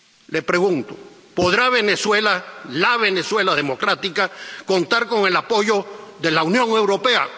Le pregunto ¿podrá Venezuela ⸺la Venezuela democrática⸺ contar con el apoyo de la Unión Europea?